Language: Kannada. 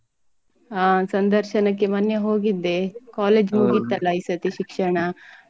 ಹ ಸಂದರ್ಶನಕ್ಕೆ ಮೊನ್ನೆ ಹೋಗಿದ್ದೆ college ಮುಗಿತಲ್ಲ ಈ ಸರ್ತಿ ಶಿಕ್ಷಣ ಅದಿಕ್ಕೆ.